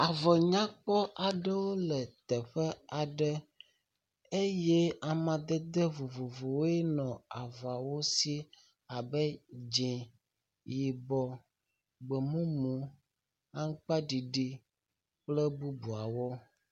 Avɔ nyakpɔ aɖewo le teƒe aɖe eye amadede vovovowoe nɔ avɔwo so abe dzi, yibɔ, gbemumu, aŋkpa ɖiɖiɖ kple bubuawo.